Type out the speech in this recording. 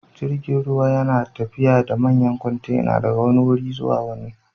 Jirgin ruwa yana tafiya da manyan kwantena daga wani wuri zuwa wani.